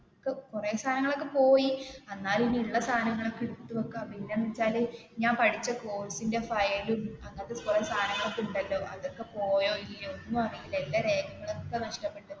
കുറെ സാധങ്ങൾ ഒക്കെ പോയി എന്നാലും ഇനി ഉള്ള സാധനങ്ങൾ ഒക്കെ എടുത്തു വെക്കാം പിന്നെ എന്താന്ന് വെച്ചാല് ഞാൻ പഠിച്ച course ന്റെ file ഉം അങ്ങനത്തെ കുറെ സാധനങ്ങൾ ഒക്കെ ഉണ്ടല്ലോ അതൊക്കെ പോയോ ഇല്ലേ അതൊന്നും അറിയില്ല, എല്ലാ രേഖകളും ഏക്ക നഷ്ടപ്പെട്ട്.